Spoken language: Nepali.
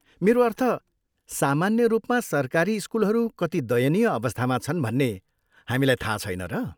मेरो अर्थ, सामान्य रूपमा सरकारी स्कुलहरू कति दयनीय अवस्थामा छन् भन्ने हामीलाई थाहा छैन र?